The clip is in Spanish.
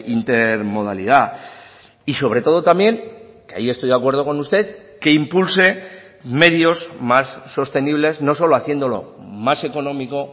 intermodalidad y sobre todo también que ahí estoy de acuerdo con usted que impulse medios más sostenibles no solo haciéndolo más económico